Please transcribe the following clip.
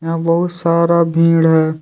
यहां बहुत सारा भीड़ है।